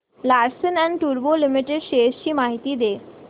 Larsen and टुर्बो limited shares ची माहिती दे